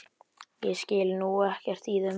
Ég skil nú ekkert í þeim á bensín